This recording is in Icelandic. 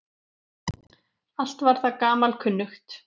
Allt var það gamalkunnugt.